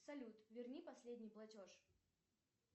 салют верни последний платеж